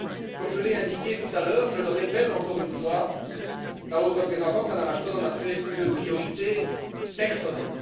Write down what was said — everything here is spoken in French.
Comme je l'ai indiqué tout à l'heure, je le répète encore une fois, la haute représentante Mme Ashton en a fait une priorité personnelle.